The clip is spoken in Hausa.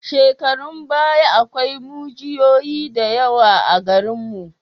Shekarun baya akwai mujiyoyi da yawa a garinmu.